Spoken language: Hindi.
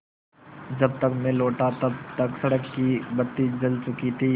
जब तक मैं लौटा तब तक सड़क की बत्ती जल चुकी थी